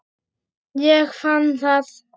Ég fann það!